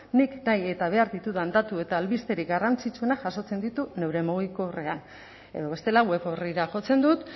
nik nahi eta behar ditudan datu eta albisterik garrantzitsuena jasotzen ditut neure mugikorrean edo bestela web orrira jotzen dut